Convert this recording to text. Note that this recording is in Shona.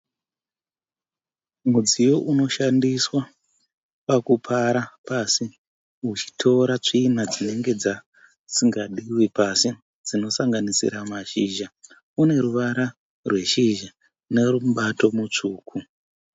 Mudziyo unoshandiswa pakupara pasi muchitora tsvina dzinenge dzisingadíwe pasi dzinosanganisira mashizha. Une ruvara rweshizha nemubato mutsvuku.